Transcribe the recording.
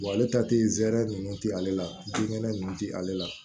ale ta te zɛrɛ nunnu te ale la binkɛnɛ nunnu ti ale la